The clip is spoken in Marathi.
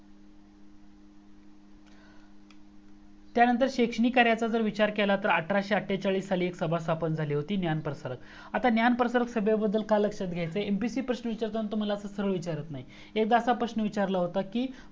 त्या नंतर शैक्षणिक कार्याचा जर विचार अठराशे एककेचाळीस मध्ये एक सभा स्थापन झाली होती ज्ञान प्रसारक आता ज्ञान प्रसारक सभेबद्दल का लक्षात घ्यायेचा आहे MPSC प्रश्न विचारत असताना असा सरल प्रश्न विचारत नाहीत एकदा असा प्रश्न विचारला होत की